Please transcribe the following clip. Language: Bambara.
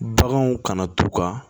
Baganw kana t'u ka